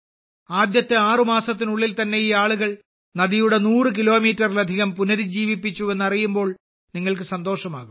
ആദ്യത്തെ ആറ് മാസത്തിനുള്ളിൽ തന്നെ ഈ ആളുകൾ നദിയുടെ 100 കിലോമീറ്ററിലധികം പുനരുജ്ജീവിപ്പിച്ചുവെന്ന് അറിയുമ്പോൾ നിങ്ങൾക്ക് സന്തോഷമാകും